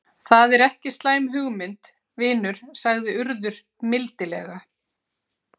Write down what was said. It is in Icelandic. Það er ekki slæm hugmynd, vinur sagði Urður mildilega.